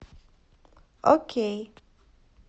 окей